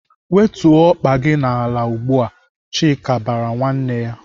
"Wetuo ọkpa gị n'ala ugbu a!" Chike bara nwanne ya.